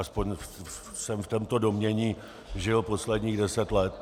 Aspoň jsem v tomto domnění žil posledních deset let.